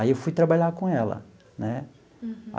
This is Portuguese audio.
Aí eu fui trabalhar com ela né. Uhum.